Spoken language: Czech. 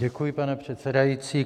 Děkuji, pane předsedající.